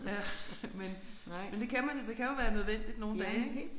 Ja men men det kan man det kan jo være nødvendigt nogle dage ik